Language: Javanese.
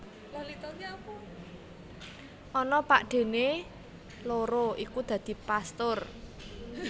Ana pakdhéné loro iku dadi pastur